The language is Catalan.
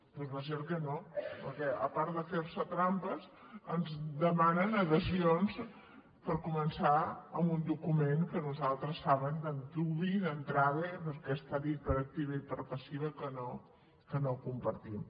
doncs va a ser que no perquè a part de fer se trampes ens demanen adhesions per començar amb un document que nosaltres saben d’antuvi i d’entrada perquè està dit per activa i per passiva que no compartim